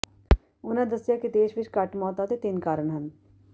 ਉਹਨਾਂ ਦੱਸਿਆ ਕਿ ਦੇਸ਼ ਵਿਚ ਘੱਟ ਮੌਤਾਂ ਦੇ ਤਿੰਨ ਕਾਰਨ ਹਨ